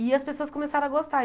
E as pessoas começaram a gostar.